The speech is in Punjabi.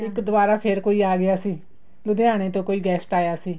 ਇੱਕ ਦੁਆਰਾ ਫ਼ਿਰ ਕੋਈ ਆ ਗਿਆ ਸੀ ਲੁਧਿਆਣੇ ਤੋਂ ਕੋਈ guest ਆਇਆ ਸੀ